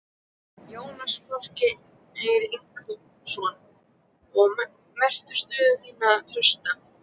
Jónas Margeir Ingólfsson: Og meturðu stöðu þína trausta?